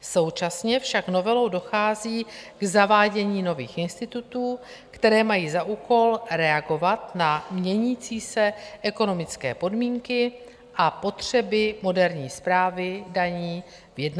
Současně však novelou dochází k zavádění nových institutů, které mají za úkol reagovat na měnící se ekonomické podmínky a potřeby moderní správy daní ve 21. století.